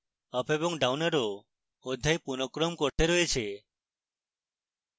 up এবং down arrow অধ্যায় পুনঃক্রম করতে রয়েছে